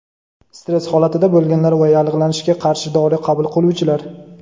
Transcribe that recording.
stress holatida bo‘lganlar va yallig‘lanishga qarshi dori qabul qiluvchilar.